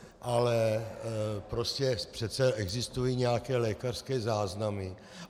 Ale prostě přece existují nějaké lékařské záznamy.